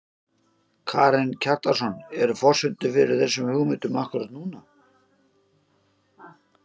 Karen Kjartansson: Eru forsendur fyrir þessum hugmyndum akkúrat núna?